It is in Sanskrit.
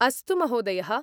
अस्तु महोदयः।